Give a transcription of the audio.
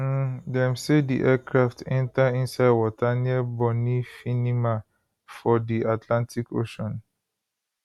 um dem say di aircraft enta inside water near bonny finima for di atlantic ocean